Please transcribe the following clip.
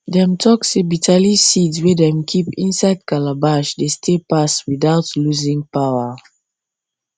dem talk say bitterleaf seeds wey dem keep inside calabash dey stay pass without losing power